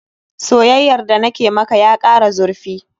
Soyayyar da na ke maka ya kara zurfi.